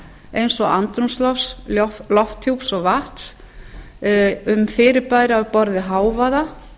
eins og andrúmslofts lofthjúps og vatns um fyrirbæri á borð við hávaða